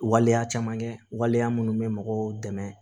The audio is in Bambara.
Waleya caman kɛ waleya minnu bɛ mɔgɔw dɛmɛ